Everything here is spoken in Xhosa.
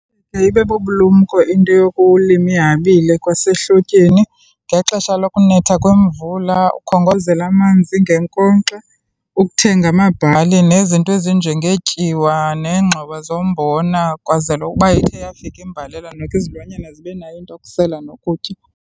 Iye ibe bubulumko into yokulima ihabile kwasehlotyeni. Ngexesha lokunetha kwemvula, ukhongozele amanzi ngenkonkxa, ukuthenga amabhali nezinto ezinjengetyiwa nengxowa zombona kwenzelwa ukuba ithe yafika imbalela noko izilwanyana zibe nayo into yokusela nokutya.